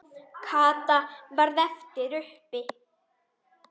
Kata varð eftir uppi.